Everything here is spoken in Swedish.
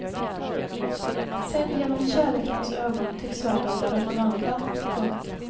Sedd genom kärlekens ögon tycks världen vara förvandlad. punkt